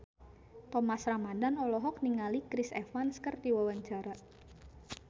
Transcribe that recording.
Thomas Ramdhan olohok ningali Chris Evans keur diwawancara